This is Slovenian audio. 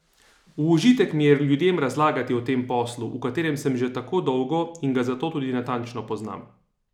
V užitek mi je ljudem razlagati o tem poslu, v katerem sem že tako dolgo in ga zato tudi natančno poznam.